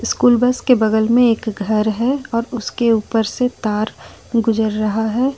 School bus के बगल में एक घर है और उसके ऊपर से एक तार गुजर रहा है।